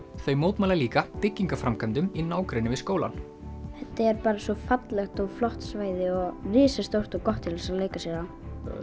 þau mótmæla líka byggingaframkvæmdum í nágrenni við skólann þetta er bara svo fallegt og flott svæði og risastórt og gott til að leika sér á það